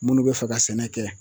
Minnu bɛ fɛ ka sɛnɛ kɛ